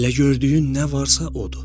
Elə gördüyün nə varsa odur.